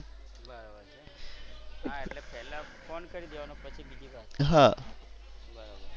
બરોબર છે હા એટલે પહેલા ફોન કરી દેવાનો પછી બીજી વાત. બરોબર.